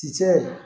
Ci cɛ